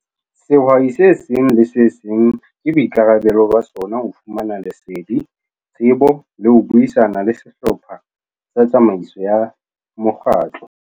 Sehwai se seng le se seng ke boikarabelo ba sona ho fumana lesedi, tsebo le ho buisana le sehlopha sa tsamaiso ya mokgatlo.